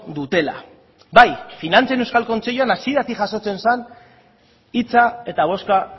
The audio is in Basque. dutela bai finantzen euskal kontseiluan hasieratik jasotzen zen hitza eta bozka